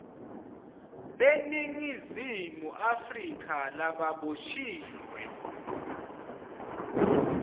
beningizimu afrika lababoshiwe